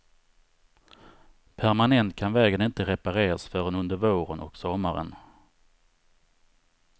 Permanent kan vägen inte repareras förrän under våren och sommaren.